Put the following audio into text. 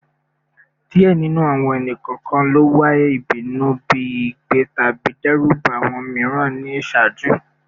Diẹ ninu awọn ẹni-kọọkan lo iwa ibinu bi igbe tabi dẹruba awọn miiran ni iṣaaju